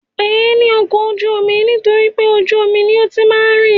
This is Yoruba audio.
À ń pè é ní ọkọ ojú-omi nitoripe ojú omi ní ó ti máa ń rìn